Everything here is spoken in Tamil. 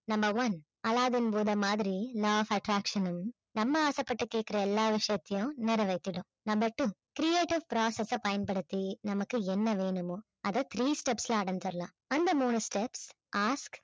number one அலாவுதீன் பூதம் மாதிரி law of attraction னும் நம்ம ஆசைப்பட்டு கேட்கிற எல்லா விஷயத்தையும் நிறைவேத்திடும் number two creative process அ பயன்படுத்தி நமக்கு என்ன வேணுமோ அதை three steps ல அடைஞ்சிடலாம் அந்த மூணு steps ask